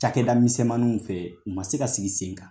Cakɛda misɛmaniw fɛ u ma se ka sigi sen kan.